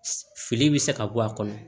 Fili bɛ se ka bɔ a kɔnɔ